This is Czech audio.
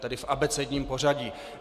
Tedy v abecedním pořadí.